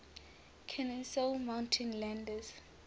kenesaw mountain landis